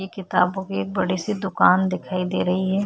ये किताबो की एक बड़ी सी दुकान दिखाई दे रही हैं।